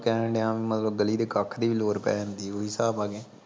ਕਹਿਣ ਡਿਆ ਮਤਲਬ ਗਲੀ ਦੇ ਕੱਖ ਦੀ ਵੀ ਲੋੜ ਪੈ ਜਾਂਦੀ ਓਹੀ ਹਿਸਾਬ ਆ ਗਿਆ